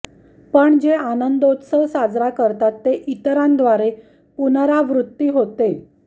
पण जे आनंदोत्सव साजरा करतात ते इतरांद्वारे पुनरावृत्ती होते